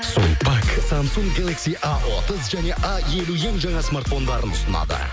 сулпак самсунг галакси а отыз және а елу ең жаңа смартфондарын ұсынады